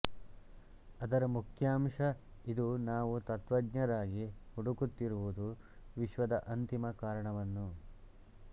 ಅದರ ಮುಖ್ಯಾಂಶ ಇದು ನಾವು ತತ್ತ್ವಜ್ಞರಾಗಿ ಹುಡುಕುತ್ತಿರುವುದು ವಿಶ್ವದ ಅಂತಿಮ ಕಾರಣವನ್ನು